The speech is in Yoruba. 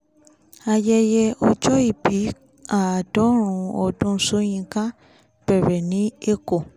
ayẹyẹ ọjọ́ ìbí àádọ́rùn ún ọdún sókínkà bẹ̀rẹ̀ ní èkó